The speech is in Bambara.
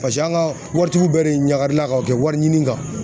Paseke an ga waritigiw bɛ de ɲagarila ka o kɛ wari ɲini kan